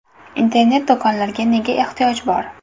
Internet-do‘konlarga nega ehtiyoj bor?